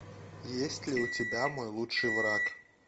есть ли у тебя мой лучший враг